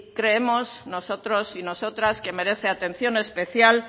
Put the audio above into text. creemos nosotros y nosotras que merece atención especial